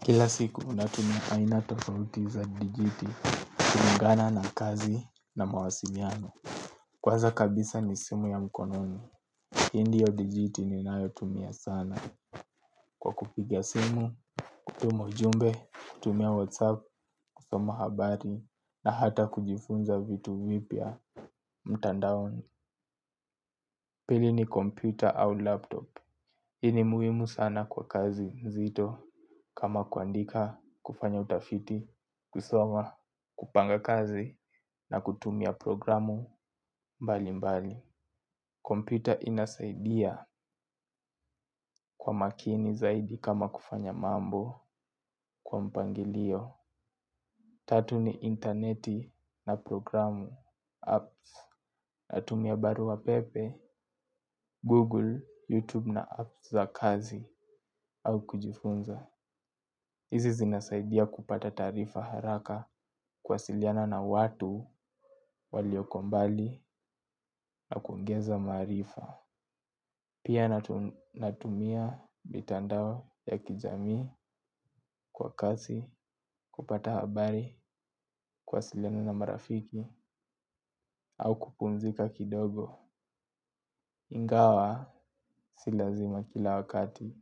Kila siku natumia aina tofauti za dijitali, kulingana na kazi na mawasiliano kwanza kabisa ni simu ya mkononi, hii ndiyo digitali ninayotumia sana kwa kupiga simu, kutuma ujumbe, kutumia whatsapp, kusoma habari na hata kujifunza vitu vipya mtandaoni. Pili ni kompyuta au laptop hii ni muhimu sana kwa kazi nzito kama kuandika, kufanya utafiti, kusoma, kupanga kazi na kutumia programu mbalimbali kompyuta inasaidia kwa makini zaidi kama kufanya mambo kwa mpangilio. Tatu ni interneti na programu, natumia barua pepe, Google na app za kazi au kujifunza. Hizi zinasaidia kupata taarifa haraka kuwasiliana na watu walio mbali na kuongeza maarifa. Pia natumia mtandao ya kijamii kwa kasi, kupata habari, kuwasiliana na marafiki au kupumzika kidogo. Ingawa si lazima kila wakati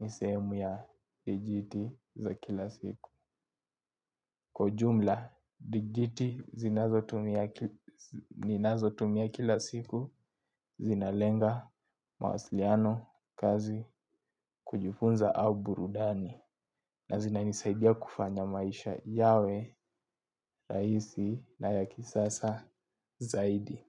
ni sehemu ya dijiti za kila siku. Kwa ujumla, digitali ninazotumia kila siku zinalenga mawasiliano kasi, kujifunza au burudani. Na zinanisaidia kufanya maisha yawe, rahisi na ya kisasa zaidi.